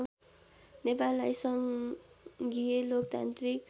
नेपाललाई सङ्घीय लोकतान्त्रिक